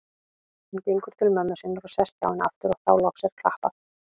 Hún gengur til mömmu sinnar og sest hjá henni aftur og þá loks er klappað.